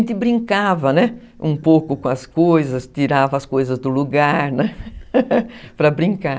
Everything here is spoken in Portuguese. A gente brincava um pouco com as coisas, tirava as coisas do lugar, né, para brincar.